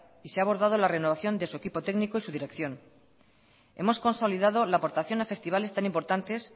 y se ha abordado la renovación de su equipo técnico y su dirección hemos consolidado la aportación a festivales tan importantes